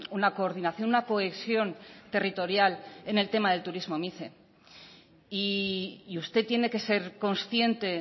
una coordinación una cohesión territorial en el tema del turismo mice y usted tiene que ser consciente